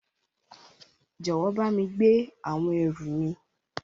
Jọwọ bámi gbé àwọn ẹrù mi.